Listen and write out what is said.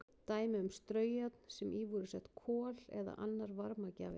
Dæmi um straujárn sem í voru sett kol eða annar varmagjafi.